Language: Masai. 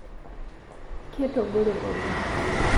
Ketogore oleng